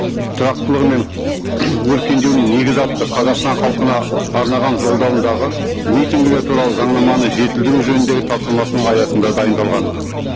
тұрақтылығы мен өркендеуінің негізі атты қазақстан халқына арнаған жолдауындағы митингілер туралы заңнаманы жетілдіру жөніндегі тапсырмасының аясында дайындалған